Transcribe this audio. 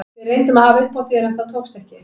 Við reyndum að hafa upp á þér en það tókst ekki.